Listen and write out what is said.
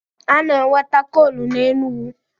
A na-enweta koolu n'Enugwu.